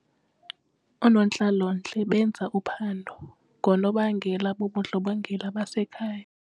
Oonontlalontle benza uphando ngoonobangela bobundlobongela basekhaya.